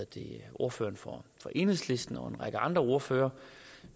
ordføreren for enhedslisten og en række andre ordførere